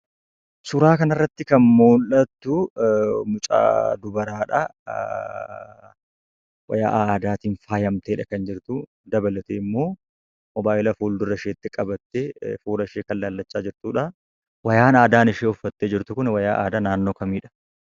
Suuraa kanarratti kan mul'attu mucaa dubaraadha. Wayyaa aadaatiin faayamteedha kan jirtuu, dabalateemmoo mobaayila fuuldura isheetti qabattee fuulashee kan laallachaa jirtudha. Wayyaan aadaa ishiin uffattee jirtu kun wayyaa aadaa naannoo kamiidha?